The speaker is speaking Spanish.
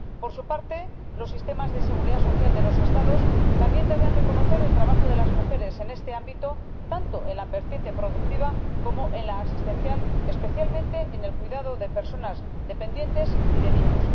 Por su parte, los sistemas de seguridad social de los Estados también deben reconocer el trabajo de las mujeres en este ámbito, tanto en la vertiente productiva como en la asistencial, especialmente en el cuidado de personas dependientes y de niños.